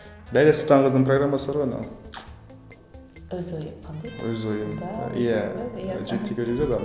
ләйлә сұлтанқызының программасы бар ғой анау өз ойың қандай өз ойың иә